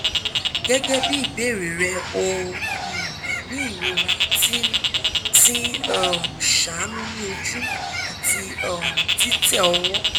gẹgẹ bi ibeere rẹ o um ni irora ti n ti n um ṣaanu ni oju ati um titẹ ọwọ